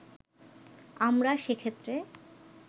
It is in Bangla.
আমরা সেক্ষেত্রে